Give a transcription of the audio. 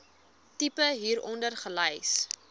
tipe hieronder gelys